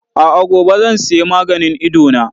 A'a, gobe zan sayi maganin Idona.